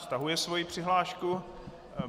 Stahuje svoji přihlášku.